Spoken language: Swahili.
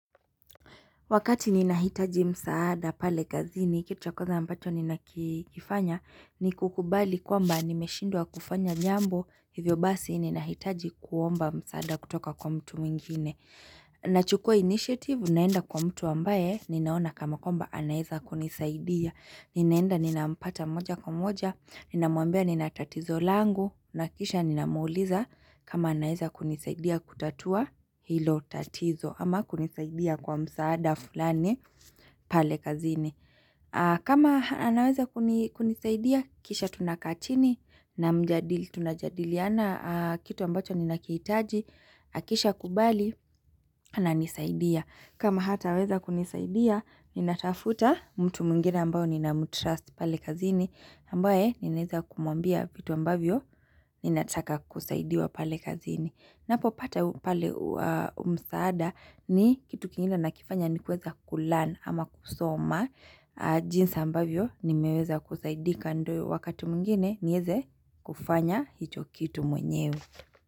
Wakati ninahitaji msaada pale gazini, kitu ya kwanza ambacho ninakifanya, ni kukubali kwamba nimeshindwa kufanya nyambo, hivyo basi ninahitaji kuomba msaada kutoka kwa mtu mwingine. Nachukua initiative, naenda kwa mtu ambaye, ninaona kama kwamba anaweza kunisaidia. Ninaenda ninampata moja kwa moja, ninamwambia ninatatizo langu, nakisha ninamuuliza kama anaweza kunisaidia kutatua hilo tatizo. Ama kunisaidia kwa msaada fulani pale kazini. Kama anaweza kunisaidia, kisha tunakaa chini na mjadili. Tunajadiliana kitu ambacho ninakihitaji, akisha kubali ananisaidia. Kama hata weza kunisaidia, ninatafuta mtu mwingina ambao ninamu trust pale kazini. Ambaye, ninaweza kumwambia vitu ambavyo, ninataka kusaidiwa pale kazini. Ninapopata pale msaada ni kitu kingine ninakifanya ni kuweza learn ama kusoma jinsi ambavyo nimeweza kusaidika ndiyo wakati mwingine ni weze kufanya hicho kitu mwenyewe.